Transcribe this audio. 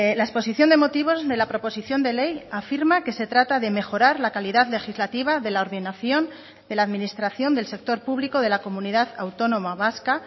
la exposición de motivos de la proposición de ley afirma que se trata de mejorar la calidad legislativa de la ordenación de la administración del sector público de la comunidad autónoma vasca